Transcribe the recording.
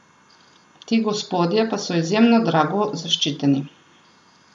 Ti gospodje pa so izjemno drago zaščiteni.